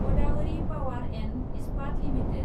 Godavari power and Ispat limited